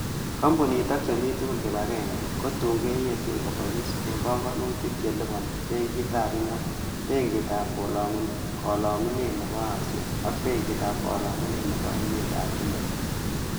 Kampunit ak chemi tugul kibagenge, kotun keyeten kobois en pongonutik che liponyin benkitab ingwony, benkitab kolongunet nebo Asia ak benkitab kolongunet nebo emetab chumbek